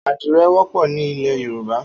Ádirẹ̀ wọpọ ni ilẹ yórùbá